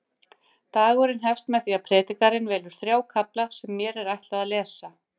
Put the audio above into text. Dagurinn hefst með því að predikarinn velur þrjá kafla sem mér er ætlað að lesa.